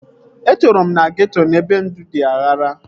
Etoro m na geeto ebe ndụ dị aghara